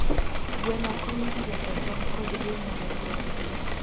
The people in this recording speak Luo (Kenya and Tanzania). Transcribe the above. Gweno konyo e loso tong' kod ring'o ne joot.